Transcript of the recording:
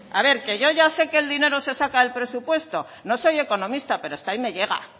a ver que yo ya sé que el dinero se saca del presupuesto no soy economista pero hasta ahí me llega